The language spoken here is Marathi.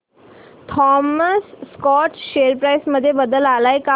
थॉमस स्कॉट शेअर प्राइस मध्ये बदल आलाय का